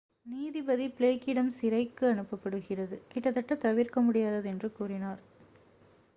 "நீதிபதி பிளேக்கிடம் சிறைக்கு அனுப்பப்படுவது "கிட்டத்தட்ட தவிர்க்க முடியாதது" என்று கூறினார்.